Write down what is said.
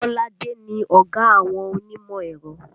Kolade ni ọ̀gá àwọn onímọ̀ ẹ̀rọ